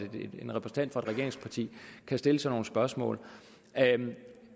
en repræsentant for et regeringsparti kan stille sådan nogle spørgsmål